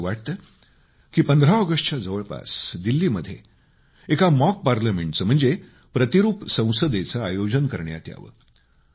मला असं वाटतं की 15 ऑगस्टच्या जवळपास दिल्लीमध्ये एका मॉक पार्लमेंटचं म्हणजेच प्रतिरूप संसदेचं आयोजन करण्यात यावं